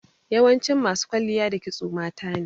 Yawancin masu kwalliya da kisto matane.